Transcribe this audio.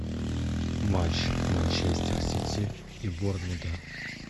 матч манчестер сити и борнмута